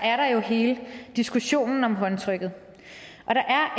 er der jo hele diskussionen om håndtrykket og der er